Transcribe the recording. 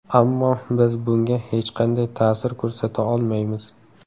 Ammo biz bunga hech qanday ta’sir ko‘rsata olmaymiz.